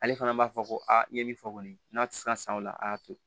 Ale fana b'a fɔ ko aa i ye min fɔ kɔni n'a tɛ se ka san o la a y'a to